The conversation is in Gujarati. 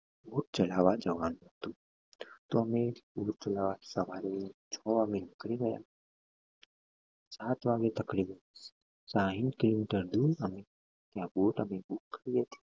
ચલવવા જવા નું હતું તો અમે સવારે વેલા છ વાગે નીકળી ગયા સાત વાગે સાહીંઠ કિલોમીટર દુર અમે ત્યાં